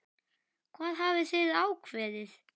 Hvað hafið þið ákveðið?